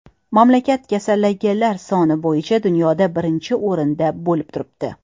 Mamlakat kasallanganlar soni bo‘yicha dunyoda birinchi o‘rinda bo‘lib turibdi.